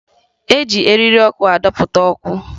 E ji eriri ọkụ adọta ọkụ